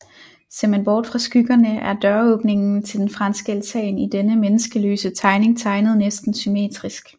Ser man bort fra skyggerne er døråbningen til den franske altan i denne menneskeløse tegning tegnet næsten symmetrisk